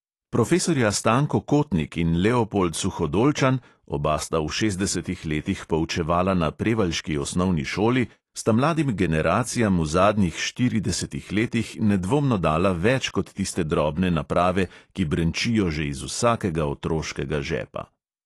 Profesorja stanko kotnik in leopold suhodolčan, oba sta v šestdesetih letih poučevala na prevaljški osnovni šoli, sta mladim generacijam v zadnjih štiridesetih letih nedvomno dala več kot tiste drobne naprave, ki brenčijo že iz vsakega otroškega žepa.